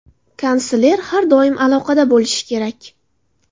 Kansler har doim aloqada bo‘lishi kerak.